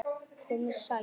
Komiði sæl!